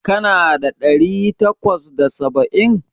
Kana da ɗari takwas da saba'in?